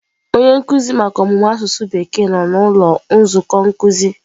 Onye nkuzi maka ọmụmụ asụsụ bekee nọ na ụlọ nzukọ nkuzi.